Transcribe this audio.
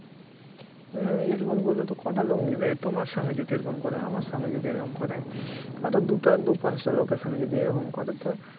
হ্যাঁ এরকম করলে তো কটা লোক নেবে তোমার সঙ্গে যদি এরকম করে আমার সঙ্গে যদি এরকম করে আরও দুটা দু পাঁচটা লোকের সঙ্গে যদি এরকম করে তো